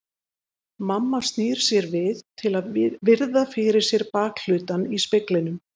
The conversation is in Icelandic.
Mamma snýr sér við til að virða fyrir sér bakhlutann í speglinum.